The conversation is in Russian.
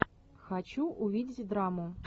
хочу увидеть драму